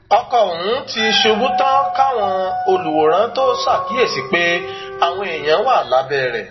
ọkọ ọhún ti ṣubú tán káwọn olùwòran tóo ṣàkíyèsí pé àwọn èèyàn wà lábẹ rẹ